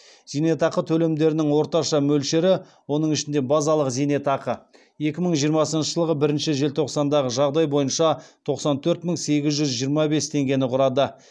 зейнетақы төлемдерінің орташа мөлшері екі мың жиырмасыншы жылғы бірінші желтоқсандағы жағдай бойынша тоқсан төрт мың сегіз жүз жиырма бес теңгені құрады